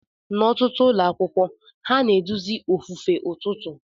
N'ọtụtụ ụlọ akwụkwọ, ha na-eduzi ofufe ụtụtụ.